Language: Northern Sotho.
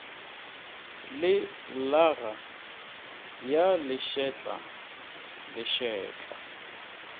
le llaga ya lešetla lešetla